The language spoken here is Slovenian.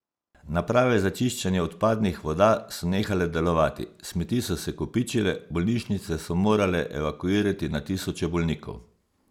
Naprave za čiščenje odpadnih voda so nehale delovati, smeti so se kopičile, bolnišnice so morale evakuirati na tisoče bolnikov.